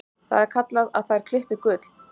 Það er kallað að þær klippi gull.